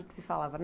O que se falava?